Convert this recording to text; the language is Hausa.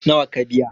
nawa ka biya?